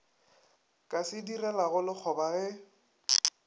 ka se direlago lekgoba ge